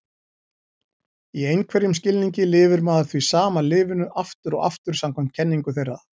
Í einhverjum skilningi lifir maður því sama lífinu aftur og aftur samkvæmt kenningu þeirra.